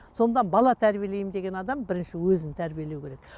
сонда бала тәрбиелеймін деген адам бірінші өзін тәрбиелеу керек